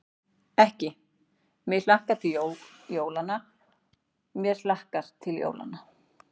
Ekki: mig hlakkar til jólanna, mér hlakkar til jólanna.